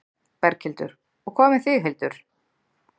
Berghildur: Og hvað með þig, Hildur?